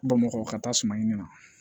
Bamakɔ ka taa suma ɲini na